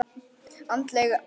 Andleg örvun.